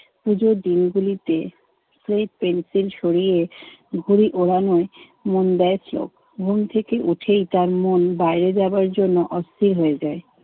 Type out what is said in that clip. পুজোর দিনগুলিতে সুমিত পেন্সিল সরিয়ে ঘুড়ি উড়ানোয় মন দেয় স্লোক। ঘুম থেকে উঠেই তার মন বাইরে যাবার জন্য অস্থির হয়ে যায়।